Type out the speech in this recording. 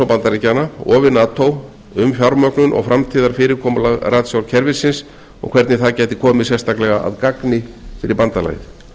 bandaríkjanna og við nato um fjármögnun og framtíðarfyrirkomulag ratsjárkerfisins og hvernig það gæti komið sérstaklega að gagni fyrir bandalagið